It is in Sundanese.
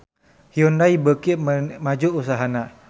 Hyundai beuki maju usahana